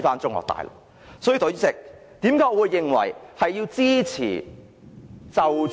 所以，代理主席，為何我認為要支持......